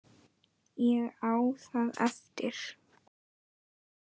Ég á það eftir.